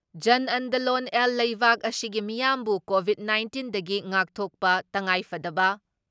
ꯖꯟꯑꯟꯗꯂꯣꯟ ꯑꯦꯜ ꯂꯩꯕꯥꯛ ꯑꯁꯤꯒꯤ ꯃꯤꯌꯥꯝꯕꯨ ꯀꯣꯚꯤꯠ ꯅꯥꯏꯟꯇꯤꯟꯗꯒꯤ ꯉꯥꯛꯊꯣꯛꯕ ꯇꯉꯥꯏꯐꯗꯕ